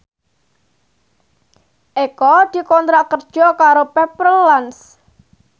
Eko dikontrak kerja karo Pepper Lunch